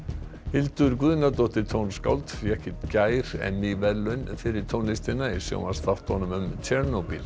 Hildur Guðnadóttir fékk í gær verðlaun fyrir tónlistina í sjónvarpsþáttunum